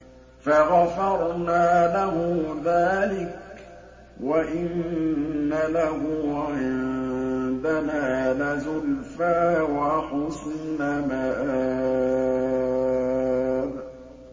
فَغَفَرْنَا لَهُ ذَٰلِكَ ۖ وَإِنَّ لَهُ عِندَنَا لَزُلْفَىٰ وَحُسْنَ مَآبٍ